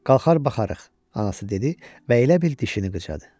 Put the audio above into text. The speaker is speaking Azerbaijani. Qalxar, baxarıq, anası dedi və elə bil dişini qıcadı.